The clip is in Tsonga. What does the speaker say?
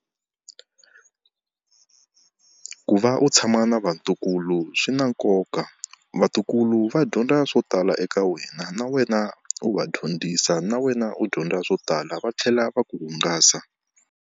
Ku va u tshama na vatukulu swi na nkoka, vatukulu va dyondza swo tala eka wena na wena u va dyondzisa na wena u dyondza swo tala va tlhela va ku hungasa.